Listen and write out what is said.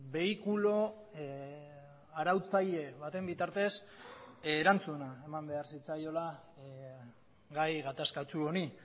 behikulo arautzaile baten bitartez erantzuna eman behar zitzaiola gai gatazkatsu honi